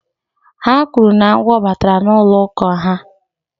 Ha kwuru na agwọ batara n'ụlọ ụka ha